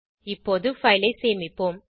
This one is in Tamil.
இப்போது பைல் ஐ சேமிப்போம்